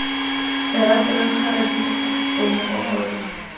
lerapo la kgara dikgopo mokokotlo